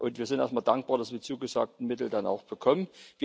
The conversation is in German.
Und wir sind auch mal dankbar, dass wir die zugesagten Mittel dann auch bekommen.